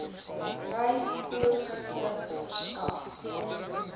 reis toergidse verskaf